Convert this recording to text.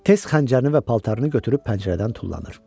Tez xəncərini və paltarını götürüb pəncərədən tullanır.